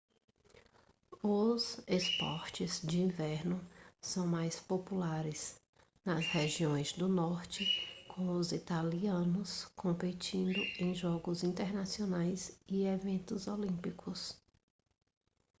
os esportes de inverno são mais populares nas regiões do norte com os italianos competindo em jogos internacionais e eventos olímpicos